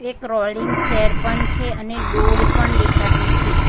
એક rolling chair પન છે અને ડોલ પણ દેખાતી છે.